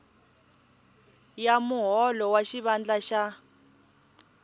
ya muholo wa xivandla xa